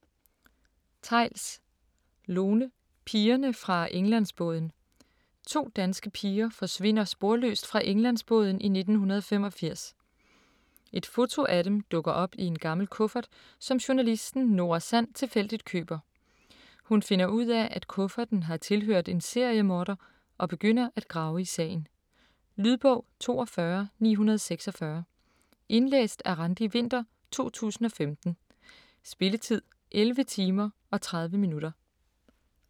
Theils, Lone: Pigerne fra Englandsbåden To danske piger forsvinder sporløst fra Englandsbåden i 1985. Et foto af dem dukker op i en gammel kuffert, som journalisten Nora Sand tilfældigt køber. Hun finder ud af, at kufferten har tilhørt en seriemorder, og begynder at grave i sagen. Lydbog 42946 Indlæst af Randi Winther, 2015. Spilletid: 11 timer, 30 minutter.